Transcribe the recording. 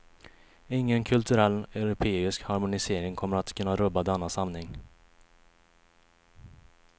Ingen kulturell europeisk harmonisering kommer att kunna rubba denna sanning.